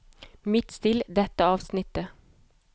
Midtstill dette avsnittet